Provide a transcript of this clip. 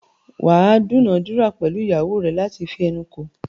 wà á dúnàádúrà pẹ̀lú ìyàwó rẹ láti fi ẹnu kò.